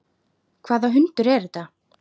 Hvaða hundur er þetta?